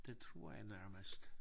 Det tror jeg nærmest